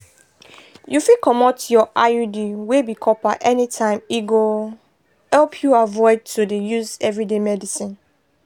you fit comot your iud wey be copper anytime e go help you avoid to dey use everyday medicines.